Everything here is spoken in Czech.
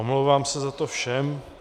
Omlouvám se za to všem.